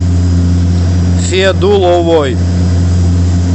федуловой